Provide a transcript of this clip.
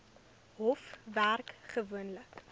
hof werk gewoonlik